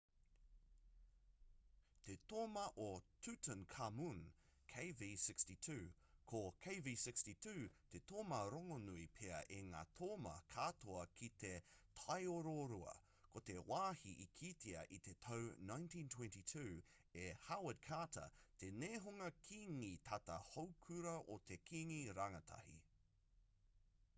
te toma o tutankhamun kv62. ko kv62 te toma rongonui pea o ngā toma katoa ki te taiororua ko te wāhi i kitea i te tau 1922 e howard carter te nehunga kīngi tata houkura o te kīngi rangatahi